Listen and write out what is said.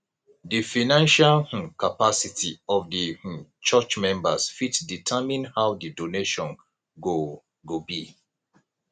di financial um capacity of di um church members fit determine how di donations go go be